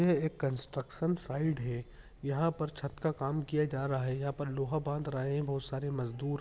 यह एक construction site है| यहाँ पर छत का काम किया जा रहा है| यहाँ पर लोहा बांध रहे है बहुत सारे मजदूर।